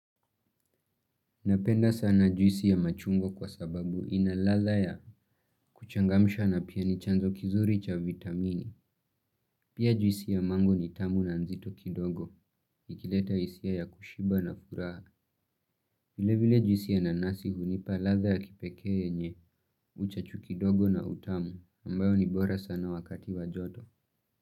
Napenda sana juisi ya machungwa kwa sababu ina ladha ya kuchangamsha na pia ni chanzo kizuri cha vitamini. Pia juisi ya mango ni tamu na nzito kidogo. Ikileta isiyah ya kushiba na furaha. Vile vile juisi ya nanasi hunipa ladha ya kipekee yenye uchachu kidogo na utamu. Ambayo ni bora sana wakati wa joto.